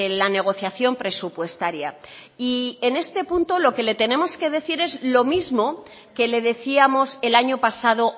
la negociación presupuestaria y en este punto lo que le tenemos que decir es lo mismo que le decíamos el año pasado